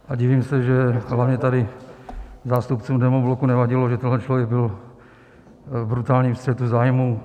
A divím se, že hlavně tady zástupcům demobloku nevadilo, že tenhle člověk byl v brutálním střetu zájmů.